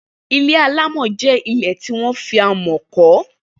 Ilé àlámọ̀ jẹ ilé tiwọn fi àmọ̀ kọ